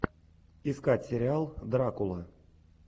искать сериал дракула